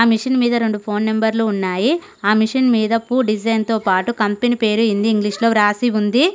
Machine మీద రెండు phone నెంబర్లు ఉన్నాయి ఆ మిషన్ మీద పూ డిజైన్ తో పాటు కంపెనీ పేరు హింది ఇంగ్లీష్ లో రాసి ఉంది.